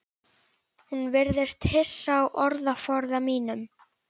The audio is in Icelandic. Hún virðist hissa á orðaforða mínum.